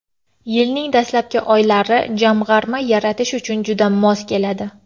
Yilning dastlabki oylari jamg‘arma yaratish uchun juda mos keladi.